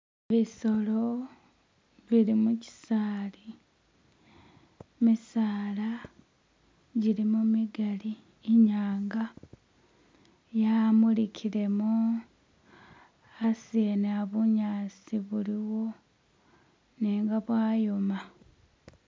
Bisolo bili mukisaali, gimisaala jilimo jimigali, inyanga yamulikilemo. Asi wene iya bunyasi bulimo nenga bwayoma.